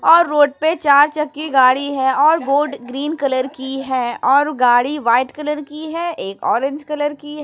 और रोड पे चार चक्की गाड़ी है और बोर्ड ग्रीन कलर की है और गाड़ी वाइट कलर की है एक ऑरेंज कलर की है।